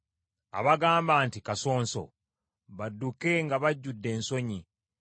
Abagamba nti, “Kasonso,” badduke nga bajjudde ensonyi.